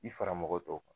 I fara mɔgɔ tɔw kan